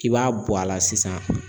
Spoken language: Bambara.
K'i b'a bɔ a la sisan